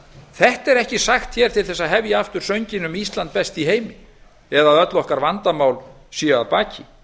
þetta er ekki sagt á til þess að hefja aftur sönginn um ísland best í heimi eða öll okkar vandamál séu að baki